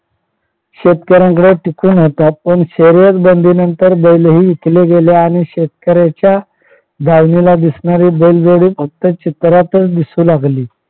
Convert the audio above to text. शेतकऱ्यांकडे टिकून होता पण शर्यत बंदीनंतर बैलही विकले गेले आणि शेतकऱ्याच्या दारीला दिसणारी बैल जोडी फक्त चित्रातच दिसू लागली.